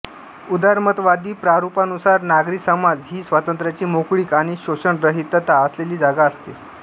उदारमतवादी प्रारूपानुसार नागरी समाज ही स्वातंत्र्याची मोकळीक आणि शोषणरहितता असलेली जागा असते